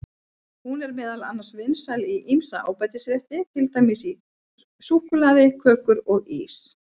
Hún er meðal annars vinsæl í ýmsa ábætisrétti, til dæmis í súkkulaði, kökur og ís.